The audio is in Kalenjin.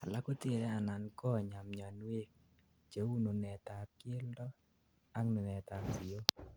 alak kotere anan konyaa mionwek, cheu nunetab keldet ak nunetab siyook